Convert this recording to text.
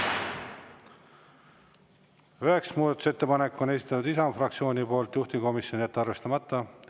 Üheksas muudatusettepanek, esitanud Isamaa fraktsioon, juhtivkomisjon: jätta arvestamata.